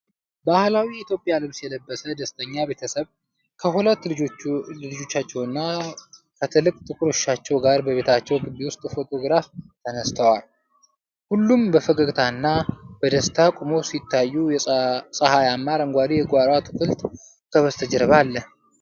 ባህላዊ የኢትዮጵያ ልብስ የለበሰ ደስተኛ ቤተሰብ ከሁለት ልጆቻቸውና ከትልቅ ጥቁር ውሻቸው ጋር በቤታቸው ግቢ ውስጥ ፎቶግራፍ ተነስተዋል። ሁሉም በፈገግታና በደስታ ቆመው ሲታዩ፣ ፀሐያማ አረንጓዴ የጓሮ አትክልት ከበስተጀርባ አለ።